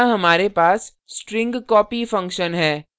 यहाँ हमारे पास string copy function है